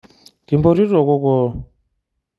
Kimpotito kokoo.